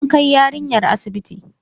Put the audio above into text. An kai yarinyar asibitin.